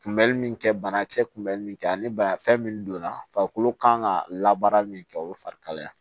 Kunbɛli min kɛ banakisɛ kun bɛ min kɛ ani bana fɛn min donna farikolo kan ka labaara min kɛ o ye farikalaya ye